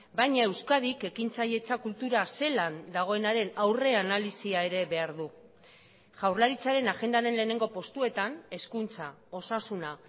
baina euskadik ekintzailetza kultura zelan dagoenaren aurre analisia ere behar du jaurlaritzaren agendaren lehenengo postuetan hezkuntza osasuna